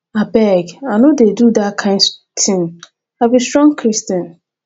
abeg i no dey do dat kin thing and i be strong christian